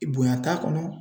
Bonya t'a kɔnɔ